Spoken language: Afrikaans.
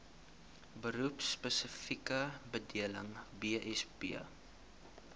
beroepspesifieke bedeling bsb